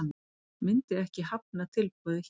Myndi ekki hafna tilboði hér